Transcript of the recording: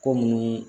Ko mun